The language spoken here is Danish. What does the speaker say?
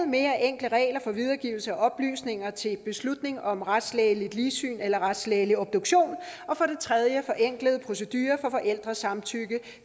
mere enkle regler for videregivelse af oplysninger til beslutning om retslægeligt ligsyn eller retslægelig obduktion og for det tredje forenklede procedurer for forældresamtykke